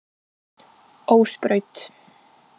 Ósbraut